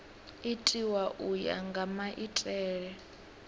itiwa u ya nga maitele